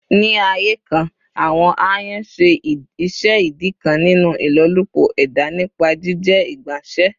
Ni aaye kan, awọn ayan ṣe iṣẹ idi kan ninu ilolupo eda nipa jijẹ igbanse.